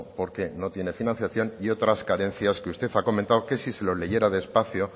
porque no tiene financiación y otras carencias que usted ha comentado que si se lo leyera despacio